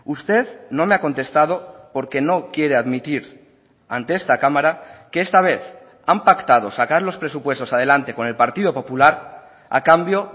usted no me ha contestado porque no quiere admitir ante esta cámara que esta vez han pactado sacar los presupuestos adelante con el partido popular a cambio